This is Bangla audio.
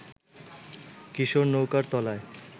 কিশোর নৌকার তলায়